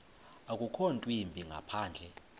akukho ntwimbi ngaphandle